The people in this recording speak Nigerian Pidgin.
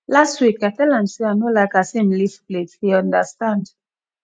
last week i tell am sey i no like as im leave plate he understand